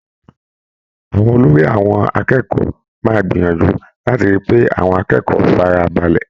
Àwọn olórí àwọn akẹ́kọ̀ọ́ máa gbìyànjú láti rí i pé àwọn akẹ́kọ̀ọ́ fara balẹ̀.